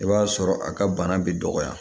I b'a sɔrɔ a ka bana bi dɔgɔya